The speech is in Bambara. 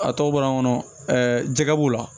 A tɔ bɔra an kɔnɔ jɛgɛ b'u la